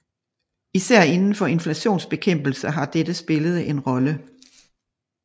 Især inden for inflationsbekæmpelse har dette spillet en rolle